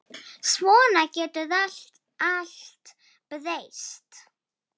Svona getur allt breyst.